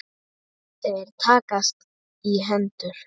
Þeir takast í hendur.